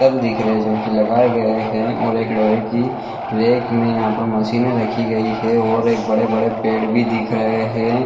--तल दिख रहे है जो की लगाए गए है और एक लोहे की रैक में यहाँ पर मशीने रखी गई है और एक बड़े-बड़े पेड़ भी दिख रहे है।